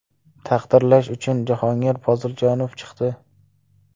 Taqdirlash uchun Jahongir Poziljonov chiqdi.